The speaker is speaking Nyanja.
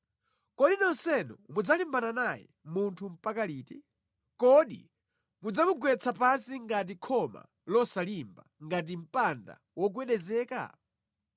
Kodi nonsenu mudzalimbana naye munthu mpaka liti? Kodi mudzamugwetsa pansi ngati khoma losalimba, ngati mpanda wogwedezeka?